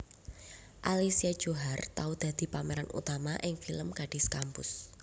Alicia Johar tau dadi pemeran utama ing film Gadis Kampus